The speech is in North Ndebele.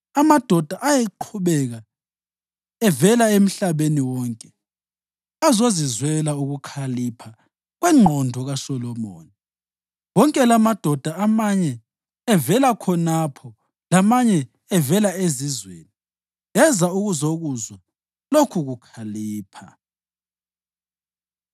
Amadoda ayequbuka evela emhlabeni wonke ukuthi azozizwela ukukhalipha kwengqondo kaSolomoni, wonke lamadoda amanye evela khonapho lamanye evela ezizweni, eza ukuzakuzwa lokhukuhlakanipha.